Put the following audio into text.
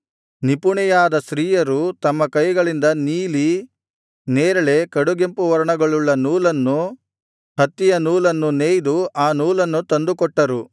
ನಿಪುಣೆಯರಾದ ಸ್ತ್ರೀಯರು ತಮ್ಮ ಕೈಗಳಿಂದ ನೀಲಿ ನೇರಳೆ ಕಡುಗೆಂಪು ವರ್ಣಗಳುಳ್ಳ ನೂಲನ್ನೂ ಹತ್ತಿಯ ನೂಲನ್ನೂ ನೇಯ್ದು ಆ ನೂಲನ್ನು ತಂದುಕೊಟ್ಟರು